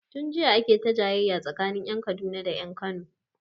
Tun jiya ake ta jayayya tsakanin ƴan Kaduna da ƴan Kano